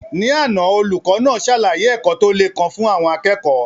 Ní àná, olùkọ́ náà ṣàlàyé ẹ̀kọ́ tó le kan fún àwọn akẹ́kọ̀ọ́.